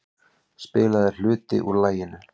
Spilaður hluti úr laginu.